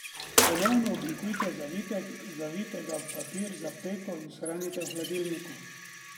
Ponovno oblikujte zavitek, zavijte ga v papir za peko in shranite v hladilniku.